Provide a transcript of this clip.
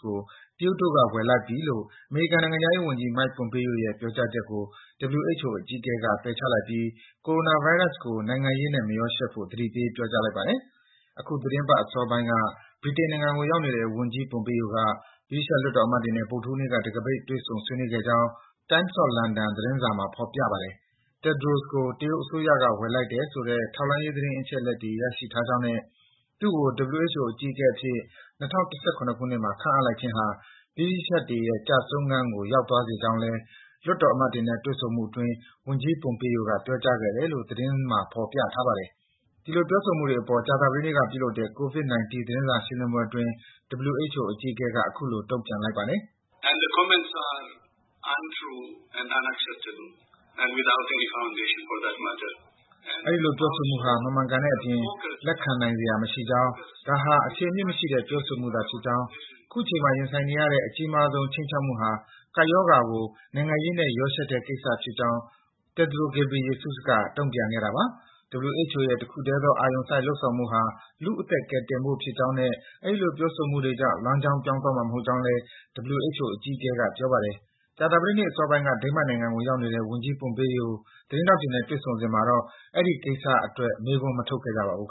ကို တရုတ်တို့က ဝယ်လိုက်ပြီ - လို့ အမေရိကန်နိုင်ငံခြားရေးဝန်ကြီး Mike Pompeo ရဲ့ ပြောကြားချက်ကို WHO အကြီးအကဲက ပယ်ချလိုက်ပြီး ကိုရိုနာဗိုင်းရပ်စ်ကို နိုင်ငံရေးနဲ့ မရောယှက်ဖို့ သတိပေး ပြောကြားလိုက်ပါတယ်။ အခုသီတင်းပတ်အစောပိုင်းက ဗြိတိန်နိုင်ငံကိုရောက်နေတဲ့ ဝန်ကြီး Pompeo က ဗြိတိသျှ လွှတ်တော်အမတ်တွေနဲ့ ဗုဒ္ဓဟူးနေ့က တံခါးပိတ် တွေ့ဆုံ ဆွေးနွေးခဲ့ကြောင်း Times of London သတင်းမှာ ဖော်ပြထားပါတယ်။ Tedros ကို တရုတ်အစိုးရက ဝယ်လိုက်တဲ့ဆိုတဲ့ ထောက်လှမ်းရေး သတင်းအချက်အလက်တွေ ရရှိထားကြောင်းနဲ့ သူ့ကို WHO အကြီးအကဲအဖြစ် ၂၀၁၇ ခုနှစ်မှာ ခန့်အပ်လိုက်ခြင်းဟာ ဗြိတိသျှတွေရဲ့ ကျဆုံးခန်းကို ရောက်သွားစေကြောင်း လွှတ်တော်အမတ်တွေနဲ့ တွေ့ဆုံမှုအတွင်း ဝန်ကြီး Pompeo က ပြောကြားခဲ့တယ်လို့ သတင်းမှာ ဖော်ပြထားပါတယ်။ ဒီလို ပြောဆိုမှုအပေါ် ကြာသပတေးနေ့က ပြုလုပ်တဲ့ ကိုဗစ် ၁၉ သတင်းစာရှင်းလင်းပွဲအတွင်း WHO အကြီးအကဲက အခုလို တုံ့ပြန်လိုက်ပါတယ်။ “အဲဒီလို ပြောဆိုမှုဟာ မမှန်ကန်တဲ့အပြင် လက်ခံနိုင်စရာမရှိကြောင်း၊ ဒါဟာ အခြေအမြစ်မရှိတဲ့ ပြောဆိုမှုသာဖြစ်ကြောင်း၊ အခုချိန်မှာ ရင်ဆိုင်နေရတဲ့ အကြီးမားဆုံး ခြိမ်းချောက်မှုဟာ ကပ်ရောဂါကို နိုင်ငံရေးနဲ့ ရောယှက်နေတဲ့ကိစ္စဖြစ်ကြောင်း” Tedros Ghebreyesus က ပြောပါတယ်။ WHO ရဲ့ တခုထဲသောအာရုံစိုက် လုပ်ဆောင်မှုဟာ လူ့အသက်တွေ ကယ်တင်ဖို့ဖြစ်ကြောင်းနဲ့ အဲဒီလို ပြောဆိုမှုတွေကြောင့် လမ်းကြောင်း ပြောင်းသွားမှာမဟုတ်ကြောင်းလည်း WHO အကြီးအကဲက ပြောပါတယ်။ ကြာသပတေးနေ့ အစောပိုင်းက Denmark နိုင်ငံကို ရောက်နေတဲ့ ဝန်ကြီး Pompeo သတင်းထောက်တွေနဲ့ တွေ့ဆုံစဉ်မှာတော့ အဲဒီကိစ္စအတွက် မေးခွန်း မထုတ်ခဲ့ကြပါဘူး